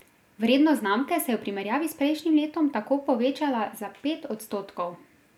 Vrednost znamke se je v primerjavi s prejšnjim letom tako povečala za pet odstotkov.